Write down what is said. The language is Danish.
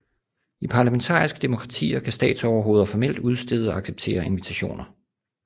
I parlamentariske demokratier kan statsoverhoveder formelt udstede og acceptere invitationer